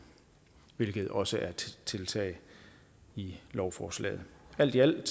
hvilket også er et tiltag i lovforslaget alt i alt